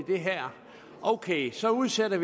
det her ok så udsatte